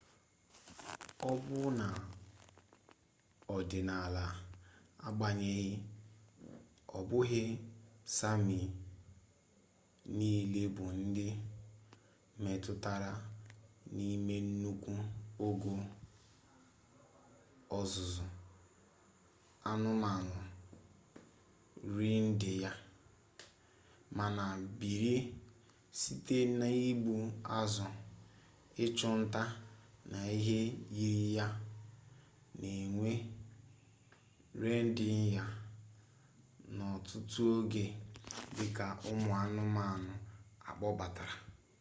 ọbụna n'ọdịnala agbanyeghị ọ bụghị sami niile bụ ndị metụtara n'ime nnukwu ogo ọzụzụ anụmanụ reendiya mana biri site n'igbu azụ ịchụ nta na ihe yiri ya na-enwe reendiya n'ọtụtụ oge dị ka ụmụ anụmanụ akpọbatara